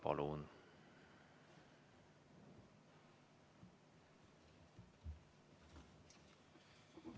Palun!